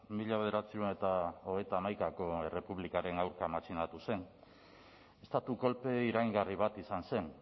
mila bederatziehun eta hogeita hamaikako errepublikaren aurka matxinatu zen estatu kolpe iraingarri bat izan zen